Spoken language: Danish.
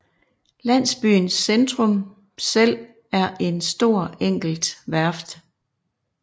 Landsbyens centrum selv er en stor enkelt værft